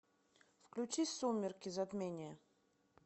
включи сумерки затмение